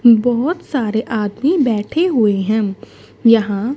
बहोत सारे आदमी बैठे हुए हैं यहां--